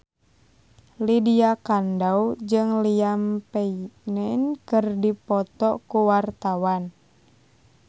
Lydia Kandou jeung Liam Payne keur dipoto ku wartawan